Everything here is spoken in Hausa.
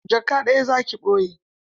Jaka ɗaya za ki ɓoye?